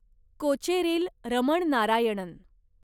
Kocheril Raman Narayanan